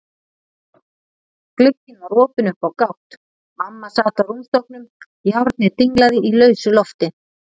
Glugginn var opinn upp á gátt, mamma sat á rúmstokknum, járnið dinglaði í lausu lofti.